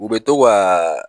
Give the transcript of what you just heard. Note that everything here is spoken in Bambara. U bɛ to ka